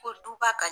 Ko duba ka